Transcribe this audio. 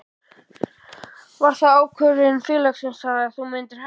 Var það ákvörðun félagsins að þú myndir hætta?